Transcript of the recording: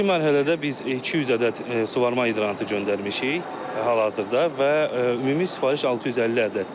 İlkin mərhələdə biz 200 ədəd suvarma hidrantı göndərmişik hal-hazırda və ümumi sifariş 650 ədəddir.